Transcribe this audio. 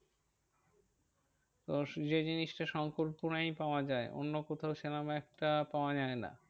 তো যে জিনিসটা শঙ্করপুরেই পাওয়া যায়। অন্য কোথাও সেরম একটা পাওয়া যায় না।